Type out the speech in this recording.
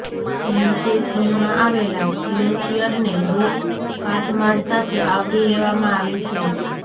નીચે ખીણમાં આવેલા ગ્લેસિયરને રોક કાટમાળ સાથે આવરી લેવામાં આવે છે